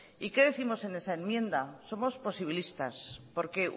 y qué décimos en esa enmienda somos posibilistas porque